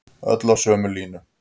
Öll á sömu línunni